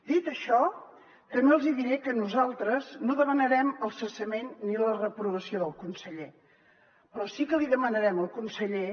dit això també els hi diré que nosaltres no demanarem el cessament ni la reprovació del conseller però sí que li demanarem al conseller